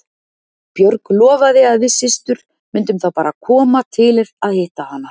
Björg lofaði að við systur myndum þá bara koma til að hitta hann.